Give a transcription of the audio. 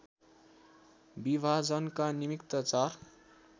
विभाजनका निमित्त चार